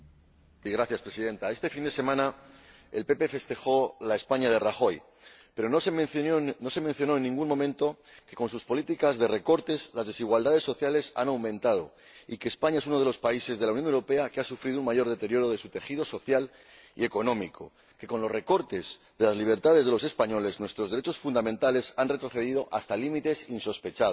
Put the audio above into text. Señora Presidenta, este fin de semana el Partido Popular festejó la España de Rajoy, pero no se mencionó en ningún momento que con sus políticas de recortes las desigualdades sociales han aumentado y España es uno de los países de la Unión Europea que ha sufrido un mayor deterioro de su tejido social y económico que con los recortes de las libertades de los españoles nuestros derechos fundamentales han retrocedido hasta límites insospechados